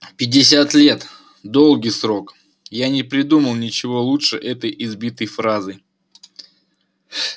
пятьдесят лет долгий срок я не придумал ничего лучше этой избитой фразы